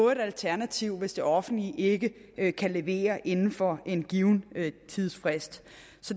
et alternativ hvis det offentlige ikke ikke kan levere inden for en given tidsfrist